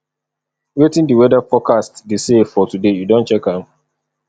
wetin di weather forecast dey say for today you don check am